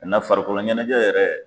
farikolo ɲɛnajɛ yɛrɛ